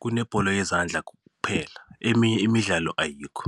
kunebholo yezandla kuphela eminye imidlalo ayikho.